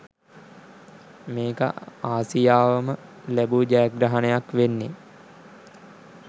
මේක ආසියාවම ලැබූ ජයග්‍රහණයක් වෙන්නේ.